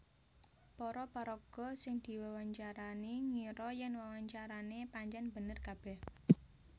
Para paraga sing diwawancarani ngira yèn wawancarané pancèn bener kabèh